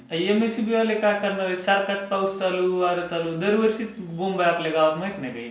M S E B. वाले काय करणार आहेत? सतत पाऊस चालू, वारा चालू. दरवर्षीचीच बोंब आहे आपल्या गावात माहित नाही काय?